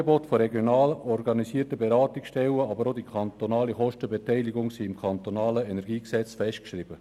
Das Angebot der regional organisierten Beratungsstellen sowie die kantonale Kostenbeteiligung sind im KEnG festgeschrieben.